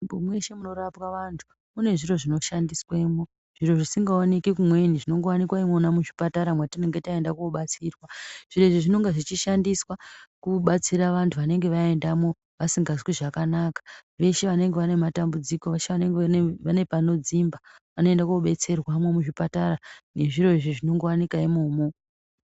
Mweshe munorapwa vantu, mune zviro zvinoshandiswemo, zviro zvisingaoneki kumweni, zvinongowanika imwona muzvipatara mwatinenge taenda kobatsirwa. Zviro izvi zvinonga zvichishandiswa kubatsira vantu vanenge vaendamo vasingazwi zvakanaka. Veshe vanenge vane matambudziko, veshe vanenge vane panodzimba, vanoenda kobetserwamo muzvipatara nezviro izvi zvinongowanika imomo.